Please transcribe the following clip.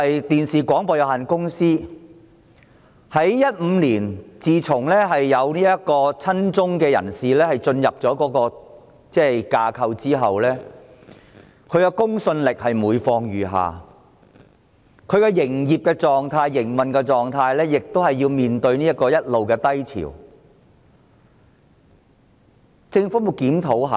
電視廣播有限公司自從2015年有親中人士進入其架構後，它的公信力每況愈下，其營運狀態亦一直面對低潮，但政府有否作出檢討呢？